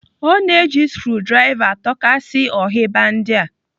O na-eji skrudrava atọkasia ohiba ndị a.